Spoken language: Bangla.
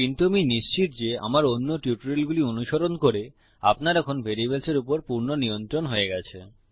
কিন্তু আমি নিশ্চিত যে আমার অন্য টিউটোরিয়ালগুলি অনুসরণ করে আপনার এখন ভ্যারিয়েবলস এর উপর পূর্ণ নিয়ন্ত্রণ হয়ে গেছে